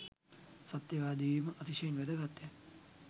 සත්‍යවාදී වීම, අතිශයින් වැදගත්ය.